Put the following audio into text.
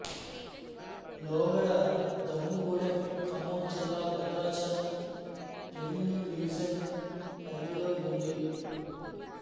లోగడ దమ్ముగూడెం ఖమ్మం జిల్లా Bhadrachalam revenue division పరిధిలో ఉంది